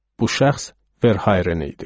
Bu şəxs Verhayren idi.